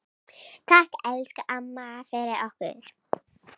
Takk, elsku amma, fyrir okkur.